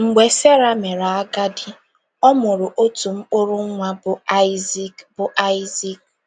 Mgbe Sera mere agadi, ọ mụrụ otu mkpụrụ nwa, bụ́ Aịzik bụ́ Aịzik.